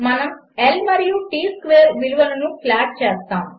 మనము L మరియు T square విలువలను ప్లాట్ చేస్తాము